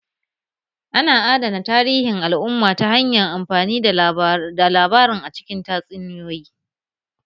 Ana adana tarihin al'umma ta hanyar amfani da labarin a cikin tatsuniyoyi